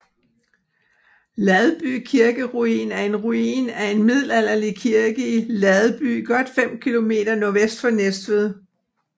Ladby kirkeruin er en ruin af en middelalderlig kirke i Ladby godt 5 km nordvest for Næstved